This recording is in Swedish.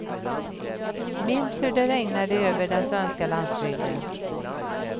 Minns hur det regnade över den svenska landsbygden.